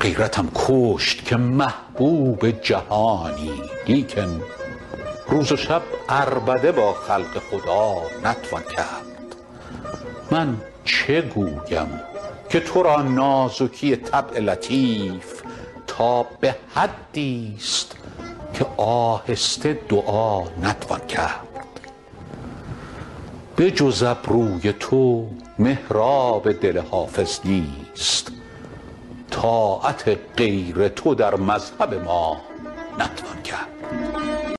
غیرتم کشت که محبوب جهانی لیکن روز و شب عربده با خلق خدا نتوان کرد من چه گویم که تو را نازکی طبع لطیف تا به حدیست که آهسته دعا نتوان کرد بجز ابروی تو محراب دل حافظ نیست طاعت غیر تو در مذهب ما نتوان کرد